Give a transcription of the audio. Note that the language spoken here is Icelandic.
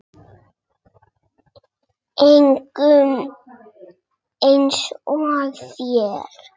Engum eins og þér.